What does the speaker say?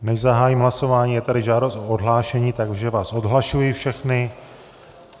Než zahájím hlasování, je tady žádost o odhlášení, takže vás odhlašuji všechny.